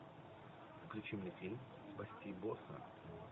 включи мне фильм спасти босса